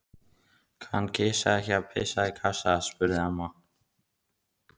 Kann kisa þín ekki að pissa í kassa? spurði amma.